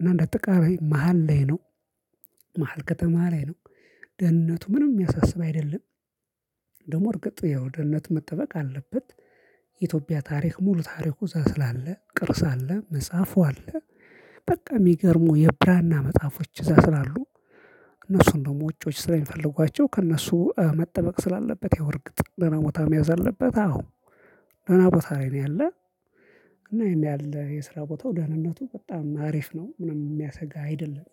እና እንደ አጠቃላይ መሃል ላይ ነው። መሃል ከተማ ላይ ነው። ደህንነቱ ምንም የሚያሳስብ አይደለም። ደግሞ እርግጥ ያው ደህንነትህ መጠበቅ አለበት። ኢትዮጵያ ታሪክ ሙሉ ታሪኩ እዛ ስላለ ቅርስ አለ መጽሐፉ አለ። በቃ የሚገርሙ የብራና መጽሐፎች እዛ ስላሉ። እነሱን ደግሞ ውጪዎች ስለሚፈልጓቸው ከእነሱ መጠበቅ ስላለበት ያው እርግጥ ደህና ቦታ መያዝ አለበት። አዎ ደህና ቦታ ላይ ነው ያለ። እና ይሄን ያህል የስራ ቦታው ደህንነቱ በጣም አሪፍ ነው ምንም የሚያሰጋ አይደለም